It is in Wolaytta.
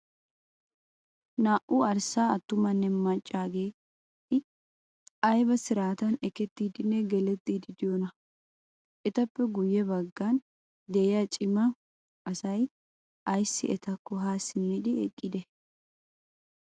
Naa"u arssa attumanne maccaageeti ayibaa siraatan ekettiddinne galettiddi diyoonaa? Etappe guyye baggan diya cima asay ayissi etakko ha simmidi eqqidee?